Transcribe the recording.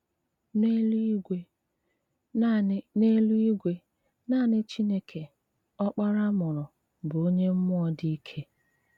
N’èlú-ìgwè, nanị N’èlú-ìgwè, nanị Chìnèké – Ọ́kpárá a mùrù bụ̀ onye mmụọ́ dị́ ìké.